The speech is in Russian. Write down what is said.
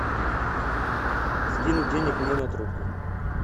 скинуть денег мне на трубку